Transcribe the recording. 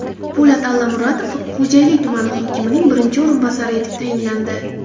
Po‘lat Allamuratov Xo‘jayli tumani hokimining birinchi o‘rinbosari etib tayinlandi.